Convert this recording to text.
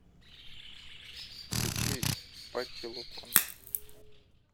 включи патти лупон